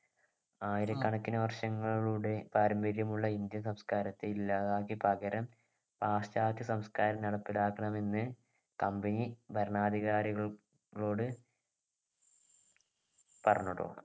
ആയിരക്കണക്കിന് വർഷങ്ങളുടെ പാരമ്പര്യമുള്ള ഇന്ത്യൻ സംസ്കാരത്തെ ഇല്ലാതാക്കി പകരം പാശ്ചാത്യ സംസ്കാരം നടപ്പിലാക്കണമെന്ന് company ഭരണധികാരികളോട് പറഞ്ഞുട്ടോ